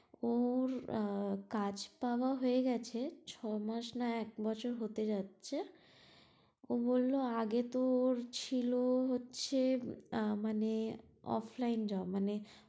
ওর কাজ পাওয়া হয়ে গেছে ছ মাস না এক বছর হতে যাচ্ছে ও বললো আগে তো ওর ছিলো হচ্ছে আহ মানে offline job মানে